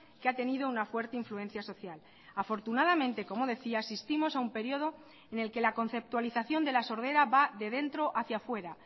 que ha tenido una fuerte influencia social afortunadamente como decía asistimos a un período en el que la conceptualización de la sordera va de dentro hacia fuera